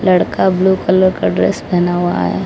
लड़का blue colour का dress पहना हुआ है।